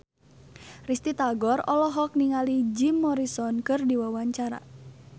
Risty Tagor olohok ningali Jim Morrison keur diwawancara